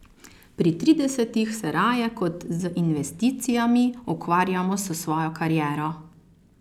Pri tridesetih se raje kot z investicijami ukvarjamo s svojo kariero.